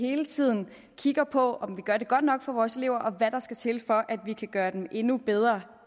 hele tiden kigger på om vi gør det godt nok for vores elever og hvad der skal til for at vi kan gøre dem endnu bedre